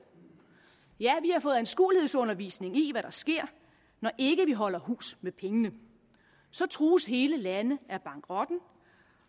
ja vi har fået anskuelighedsundervisning i hvad der sker når ikke vi holder hus med pengene så trues hele lande af bankerotten